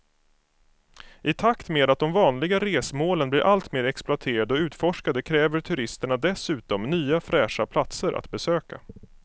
I takt med att de vanliga resmålen blir allt mer exploaterade och utforskade kräver turisterna dessutom nya fräscha platser att besöka.